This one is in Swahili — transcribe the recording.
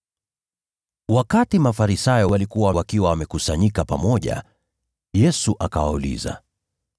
Wakati Mafarisayo walikuwa wamekusanyika pamoja, Yesu akawauliza,